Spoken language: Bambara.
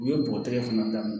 U ye bɔgɔ tɛgɛ fana da